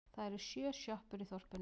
Það eru sjö sjoppur í þorpinu!